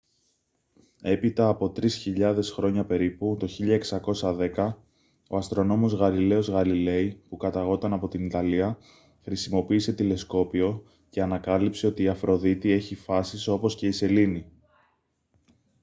έπειτα από τρεις χιλιάδες χρόνια περίπου το 1610 ο αστρονόμος γαλιλαίος γαλιλέι που καταγόταν από την ιταλία χρησιμοποίησε τηλεσκόπιο και ανακάλυψε ότι η αφροδίτη έχει φάσεις όπως και η σελήνη